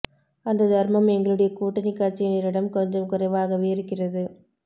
அந்த தர்மம் எங்களுடைய கூட்டணி கட்சியினரிடம் கொஞ்சம் குறைவாகவே இருக்கிறது